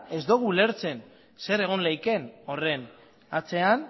ez dugu ulertzen zer egon leiken horren atzean